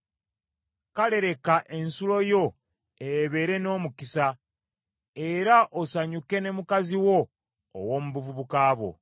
Kale leka ensulo yo ebeere n’omukisa, era osanyuke ne mukazi wo ow’omu buvubuka bwo.